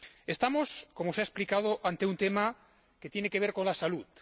Estamos, como se ha explicado, ante un tema que tiene que ver con la salud.